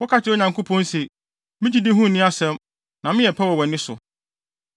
Woka kyerɛ Onyankopɔn se, ‘Me gyidi ho nni asɛm na meyɛ pɛ wɔ wʼani so.’